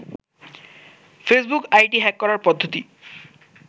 Facebook ID hack করার পদ্ধতি